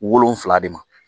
Wolonfila de ma